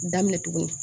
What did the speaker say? Daminɛ tugunni